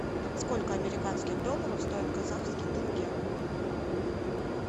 сколько американских долларов стоит казахский тенге